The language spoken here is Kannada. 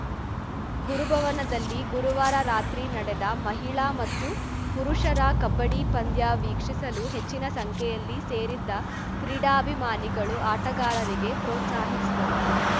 ಗುರುಭವನದಲ್ಲಿ ಗುರುವಾರ ರಾತ್ರಿ ನಡೆದ ಮಹಿಳಾ ಮತ್ತು ಪುರುಷರ ಕಬ್ಬಡಿ ಪಂದ್ಯ ವೀಕ್ಷಿಸಲು ಹೆಚಿನ ಸಂಖ್ಯೆಯಲ್ಲಿ ಸೇರಿದ್ದ ಕ್ರೀಡಾಭಿಮಾನಿಗಳು ಆಟಗಾರರಿಗೆ ಪ್ರೋತ್ಸಾಹಿಸಿದರು